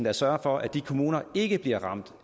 at sørge for at de kommuner ikke bliver ramt